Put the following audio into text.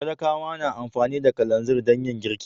Talakawa na amfani da kalanzir dan yin girki.